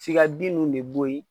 F'i ka den ninnu de boyi.